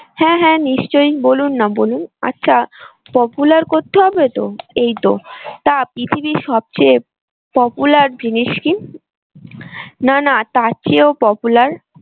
হ্যাঁ হ্যাঁ চিশ্চই বলুন না বলুন আচ্ছা popular করতে হবে তো? এই তো তা পৃথিবীর সব চেয়ে popular জিনিস কি? না না তার চেয়েও popular